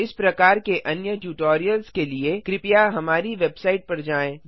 इस प्रकार के अन्य ट्यूटोरियल्स के लिए कृपया हमारी वेबसाइट पर जाएँ